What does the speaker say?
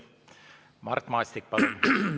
Mart Maastik, palun!